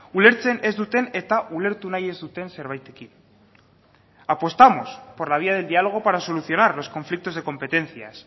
ulertzen ez duten eta ulertu nahi ez duten zerbaitekin apostamos por la vía del diálogo para solucionar los conflictos de competencias